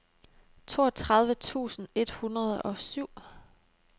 toogtredive tusind et hundrede og syv